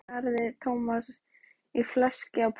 Hálftíma síðar skaraði Thomas í fleski á pönnu.